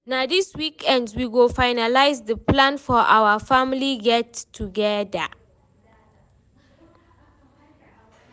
na dis weekend we go finalize the plans for our family get togeda